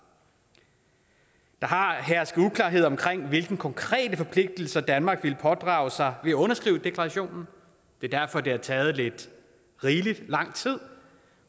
der har hersket uklarhed om hvilke konkrete forpligtelser danmark ville pådrage sig ved at underskrive deklarationen det er derfor det har taget lidt rigelig lang tid